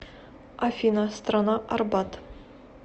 афина страна арбат